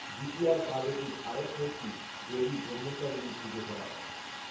দ্বিতীয়ায় পার্বতীর আরেক মূর্তি দেবী ব্রহ্মচারিণীর পুজো করা হয়।